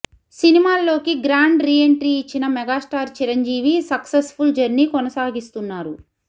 సినిమాల్లోకి grand re entry ఇచ్చిన megastar Chiranjeevi successful journey కొనసాగిస్తున్నారు